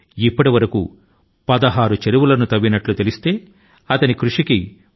ఇప్పటివరకు ఆయన 16 చెరువుల ను తవ్వేశారు